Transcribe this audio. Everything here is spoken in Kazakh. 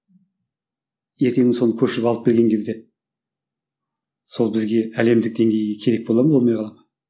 ертеңгі күні соны көшіріп алып келген кезде сол бізге әлемдік деңгейге керек бола ма болмай қала ма